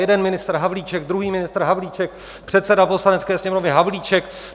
Jeden ministr Havlíček, druhý ministr Havlíček, předseda Poslanecké sněmovny Havlíček.